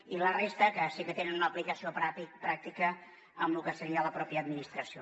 i la resta que sí que tenen una aplicació pràctica en el que seria la mateixa administració